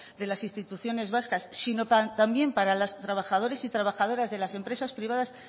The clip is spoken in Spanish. de las instituciones vascas sino también para los trabajadores y trabajadoras de las empresas privadas